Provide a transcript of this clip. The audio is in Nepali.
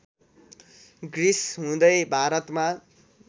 ग्रिस हुँदै भारतमा